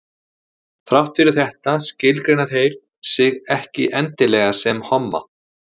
þrátt fyrir þetta skilgreina þeir sig ekki endilega sem homma